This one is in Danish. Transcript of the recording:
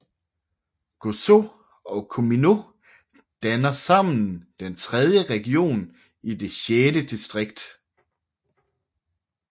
Gozo og Comino danner sammen den tredje region og det sjette distrikt